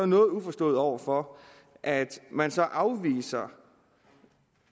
noget uforstående over for at man så afviser